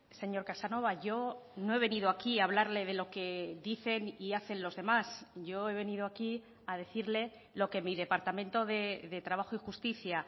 señor casanova yo no he venido aquí a hablarle de lo que dicen y hacen los demás yo he venido aquí a decirle lo que mi departamento de trabajo y justicia